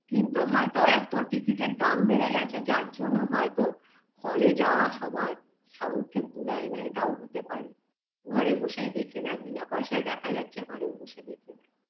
কিন্তু হয়তো এত ticket -এর দাম বেড়ে গেছে যার জন্য হয়তো hall -এ যাওয়া সবার সামর্থে কুলায় না এটাও হতে পারে ঘরে বসেই দেখে নেয় বিনা পয়সায় দেখা যাচ্ছে ঘরে বসে দেখে নেয়